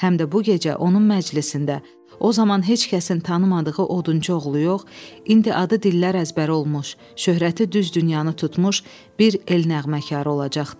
Həm də bu gecə onun məclisində o zaman heç kəsin tanımadığı odunçu oğlu yox, indi adı dillər əzbəri olmuş, şöhrəti düz dünyanı tutmuş bir el nəğməkarı olacaqdı.